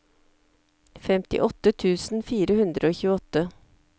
femtiåtte tusen fire hundre og tjueåtte